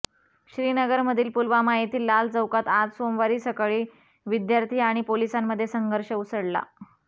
श्रीनगर मधील पुलवामा येथील लाल चौकात आज सोमवारी सकाळी विद्यार्थी आणि पोलिसांमध्ये संघर्ष उसळला